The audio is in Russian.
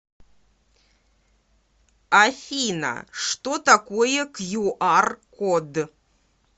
афина что такое кью ар код